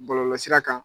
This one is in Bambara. Bɔlɔlɔsira kan